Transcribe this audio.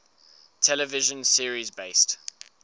television series based